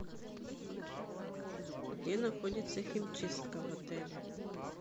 где находится химчистка в отеле